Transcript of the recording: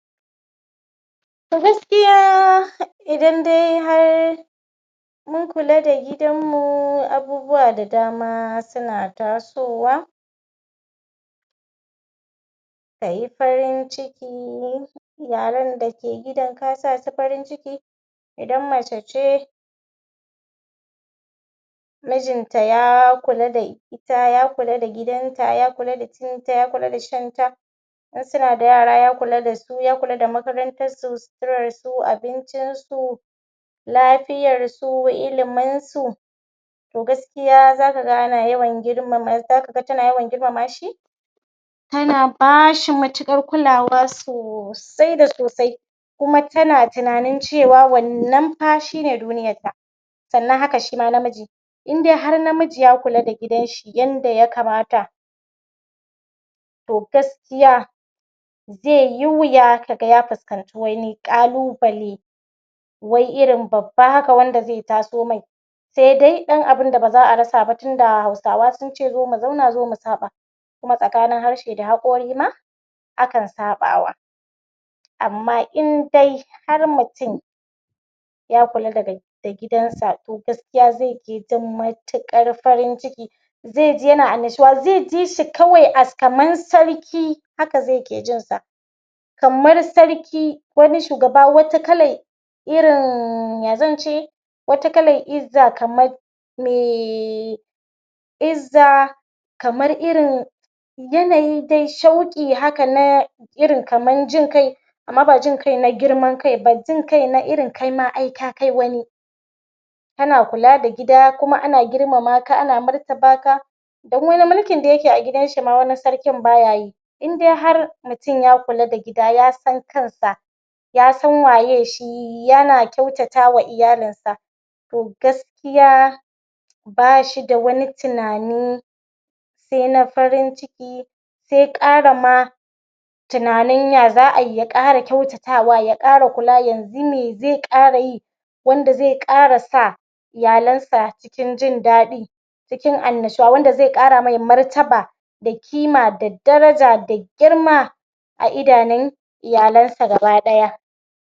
To, duk abinda mutum dai ya zaba a rayuwarshi yana jin cewa wannan abun da ya zaba shine ya fi mai, amfani kuma shine zai mai nagarta a cikin rayuwarsa, shine zai zama kamar jagorar rayuwarsa kinan. Don haka idan har mutum ya zaba abu a rayuwarshi, ko a aikinsa ka zabar wa kanka, to gaskiya zaka ga mutum yana farin ciki, kuma yana da hope, da fatan yayi wannan abun, kuma baya son wani abu da zai kawo mai cikas. Duk wani abu da zai kawo mai cikas a cikin aikin nashi ko wannan abu da ya zaba a rayuwarshi, baya son shi kuma zai kiyaye. Eh, sannan akwai gaskiya abun da mutum ya ke ji, barin ma a ce ka zaba abu, kuma ka samu, kuma kaga ka yi nasara, ko aiki ne ka zabar wa kanka kaga kana cigaba kana wannan ai, abu da zaka ji ma bashi da misali, sannan zaka yi ta farin ciki, kana jin dadi, kana kara ganin kaima ai ka iso wani stage ka zo wani mataki, wanda, rayuwarka ta kammalu, ko zata kammalu akan bigire mai kyau ko a bisa hanya madaidaiciya. Za ka ga mutum yana ai ni abinda nakeyi zabi na ne, kuma bashi da wani aibu ko nayi nasara dama ni na zaba, saɓanin kuma idan wani ne ya zabar maka abu ba kaine ka zaba ba, to da matsala, sai kaga mutum yana ta shiri-rita yaki yin abun tunda bashi ne a ranshin ba, bashi ya zaba ba. Amma idan ka zabu aiki ko ka zabi yanda zaka tafi da rayuwarka, to gaskiya wannan zaka ji kana da kwari gwiwa, zaka ji ka jajirce, zaka ji bazaka iya bari wannan abunda ka tunkara fa ya samu matsala ba, sai ka ga har ka cimma gaci. sannan.